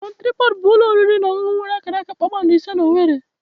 Bon Tripọd bụ ụlọ oriri na ọṅụṅụ nwere akara kpakpando ise na owerri.